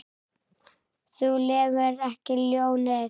Þú lemur ekki ljónið.